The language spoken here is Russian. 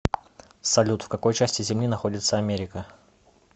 салют в какой части земли находится америка